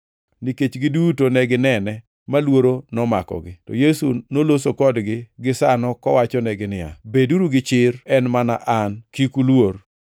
nikech giduto ne ginene ma luoro nomakogi. To Yesu noloso kodgi gisano kowachonegi niya, “Beduru gi chir! En mana An! Kik uluor.”